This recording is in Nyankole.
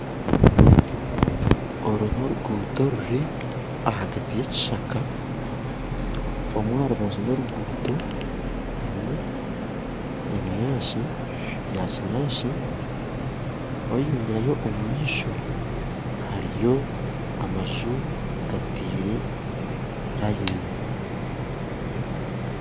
Oru n'oruguto ruri ahagati y'ekishaaka omwe aharubaju rw'oruguto harimu ebinyaatsi byakinyaatsi yayeyogyeraho omumaisho hariyo amanju gateire layini